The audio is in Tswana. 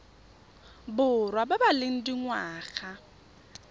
borwa ba ba leng dingwaga